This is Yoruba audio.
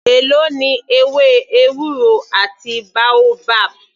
Èló ni ewé ewúro àti boabab.